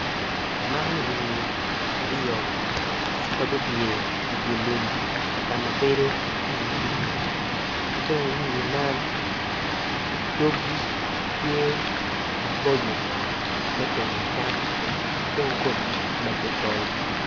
Man winyi aryo ma gupyer idilum i kakama bedo pii pii ki dong winyi man dogi tye maboco me tongo cam kidong komgi tye macocol.